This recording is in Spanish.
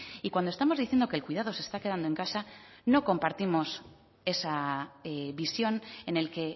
y cuando estamos diciendo que el cuidado se está quedando en casa no compartimos esa visión en el que